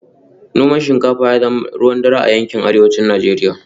Noman shinkafa ya zama ruwan dare a yankin Arewacin Najeriya